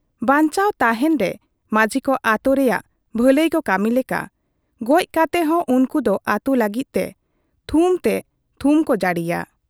ᱵᱟᱧᱪᱟᱣ ᱛᱟᱦᱮᱸᱱ ᱨᱮ ᱢᱟᱹᱡᱷᱤᱠᱚ ᱟᱹᱛᱩ ᱨᱮᱭᱟᱜ ᱵᱷᱟᱹᱞᱟᱹᱭ ᱠᱚ ᱠᱟᱹᱢᱤ ᱞᱮᱠᱟ ᱜᱚᱡ ᱠᱟᱛᱮ ᱦᱚᱸ ᱩᱱᱠᱩ ᱫᱚ ᱟᱹᱛᱩ ᱞᱟᱹᱜᱤᱫ ᱛᱮ ᱛᱷᱩᱢ ᱛᱮ ᱛᱷᱩᱢ ᱠᱚ ᱡᱟᱲᱤᱭᱟ ᱾